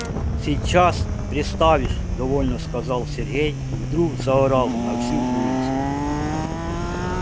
сейчас представишь довольно сказал сергей и вдруг заорал на всю улицу